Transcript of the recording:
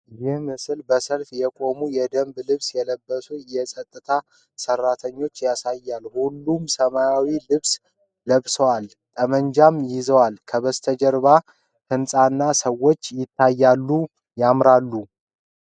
ይህ ምስል በሰልፍ የቆሙ የደንብ ልብስ የለበሱ የፀጥታ ሠራተኞች ያሳያል:: ሁሉም ሰማያዊ ልብስ ለብሰው:: ጠመንጃ ይዘዋል:: ከበስተጀርባው ሕንጻና ሰዎች ይታያሉ::